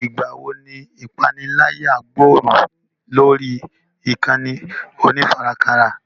Ìgbà wo ni ìpániláyà gbòòrò lórí ìkànnì onífarakínra?